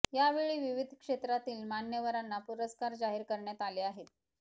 यावेळी विविध क्षेत्रातील मान्यवरांना पुरस्कार जाहीर करण्यात आले आहेत